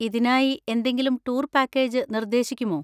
ഇതിനായി എന്തെങ്കിലും tour package നിർദ്ദേശിക്കുമോ?